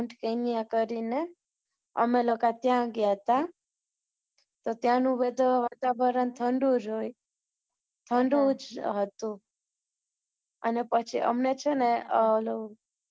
mount Kenya કરીને, અમે લોકો ત્યાં ગયા હતા, તો ત્યાંનું બધુ વાતાવરણ ઠંંડુ જ હોય, ઠંડુ જ હતુ, અને પછી અમે છે ને, અમ ઓલુ,